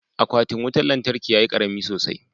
Aquatin wutan lantarkin ya yi karami sosai.